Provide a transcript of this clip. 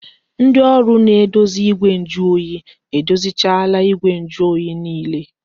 Ndị ọrụ na-edozi igwe njuoyi edozichaala igwe njuoyi niile